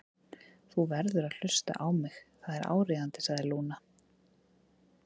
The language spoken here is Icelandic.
Þú verður að hlusta á mig, það er áríðandi, sagði Lúna.